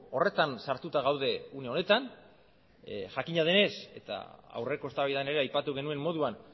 horretan sartuta gaude une honetan jakina denez eta aurreko eztabaidan ere aipatu genuen moduan